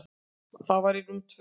Það var í rúm tvö ár.